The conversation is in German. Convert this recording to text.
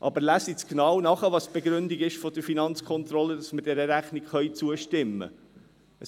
Aber lesen Sie genau nach, welches die Begründung der FK ist, weshalb wir dieser Rechnung zustimmen können.